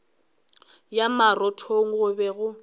ya marothong go be go